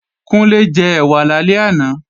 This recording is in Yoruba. Kúnlé jẹ ẹ̀wà lálẹ́ àná